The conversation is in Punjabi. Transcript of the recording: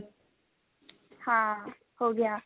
ਹਾਂ ਹੋ ਗਿਆ